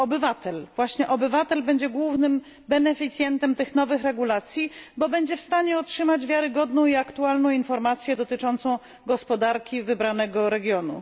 Obywatel, właśnie obywatel będzie głównym beneficjentem tych nowych regulacji, bo będzie w stanie otrzymać wiarygodną i aktualną informację dotyczącą gospodarki wybranego regionu.